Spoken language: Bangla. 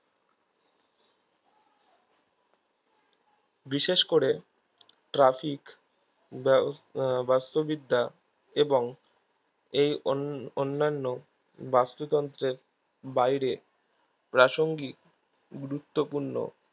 বিশেষ করে traffic ব বাস্তুবিদ্যা এবং এই অন অন্নান্য বাস্তুতন্ত্রে বাইরে প্রাসঙ্গিক গুরুত্বপূর্ণ